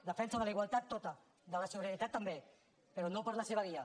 defensa de la igualtat tota de la solidaritat també però no per la seva via